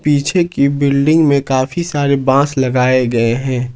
पीछे के बिल्डिंग में काफी सारे बांस लगाए हुए हैं।